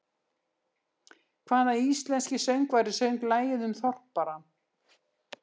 Hvaða íslenski söngvari söng lagið um Þorparann?